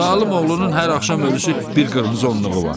Zalım oğlunun hər axşam ölülüsü bir qırmızı onluğu var.